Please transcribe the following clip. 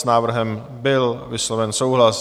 S návrhem byl vysloven souhlas.